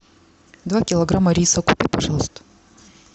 два килограмма риса купи пожалуйста